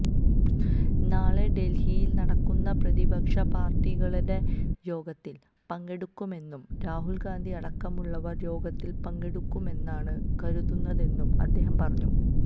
നാളെ ഡല്ഹിയില് നടക്കുന്ന പ്രതിപക്ഷ പാര്ട്ടികളുടെ യോഗത്തില് പങ്കെടുക്കുമെന്നും രാഹുല്ഗാന്ധി അടക്കമുള്ളവര് യോഗത്തില് പങ്കെടുക്കുമെന്നാണ് കരുതുന്നതെന്നും അദ്ദേഹം പറഞ്ഞു